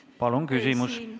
Palun küsimust!